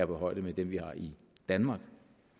på højde med dem vi har i danmark